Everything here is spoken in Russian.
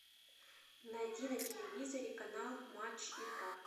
найти на телевизоре канал матч игра